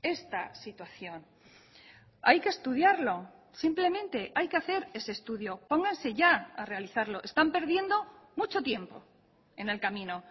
esta situación hay que estudiarlo simplemente hay que hacer ese estudio pónganse ya a realizarlo están perdiendo mucho tiempo en el camino